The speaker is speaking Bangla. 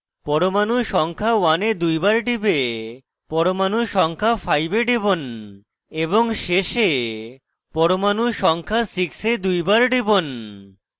পরমাণু সংখ্যা 1 এ দুইবার টিপে পরমাণু সংখ্যা 5 এ টিপুন এবং শেষে পরমাণু সংখ্যা 6 এ দুইবার টিপুন